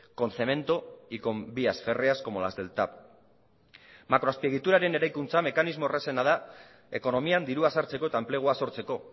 con cemento y con vías férreas como las del tav makroazpiegituraren eraikuntza mekanismo errazena da ekonomian dirua sartzeko eta enplegua sortzeko